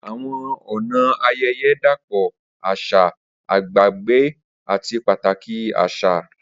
Awọn ọna ayẹyẹ dapọ aṣa, agbegbe, ati pataki aṣa.